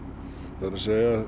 það er